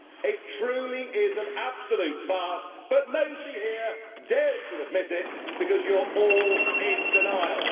It truly is an absolute farce but nobody here dares to admit it because you are all in denial.